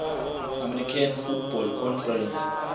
american football conference